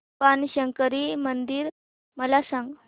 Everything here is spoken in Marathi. बाणशंकरी मंदिर मला सांग